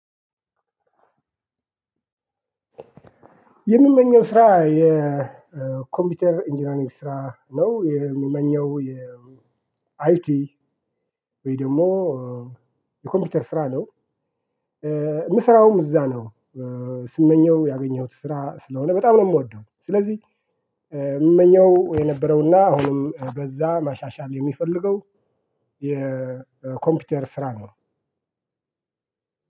የምመኘው ስራ የኮምፒውተር ኢንጂነሪንግ ስራ ነው የሚመኘው የ አይቲ ወይ ደግሞ የኮምፒውተር ስራ ነው። ምሰራውም እዛ ነው። ስመኘውም ያገኘሁት ስራ ስለሆነ በጣም ነው ምወደው። ስለዚህ ምመኘው የነበረውና አሁንም በዛ ማሻሻል የሚፈልገው የኮምፒውተር ስራ ነው።